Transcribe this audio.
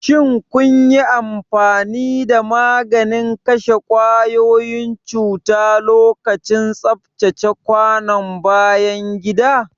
Shin kun yi amfani da maganin kashe kwayoyin cuta lokacin tsaftace kwanon bayan gida?